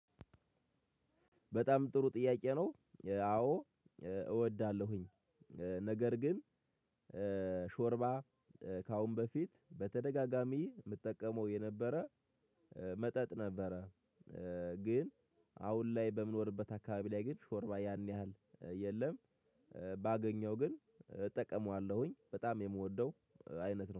በጣም ጥሩ ጥያቄ ነው። አዎ እወዳለሁኝ። ነገር ግን ሾርባ ከአሁን በፊት በተደጋጋሚ የምጠቀመው የነበረ መጠጥ ነበረ። ግን አሁን ላይ በምኖርበት አካባቢ ላይ ግን ሾርባ ያን ያህል የለም። ባገኘው ግን እጠቀመዋለሁኝ በጣም የምወደው አይነት ነው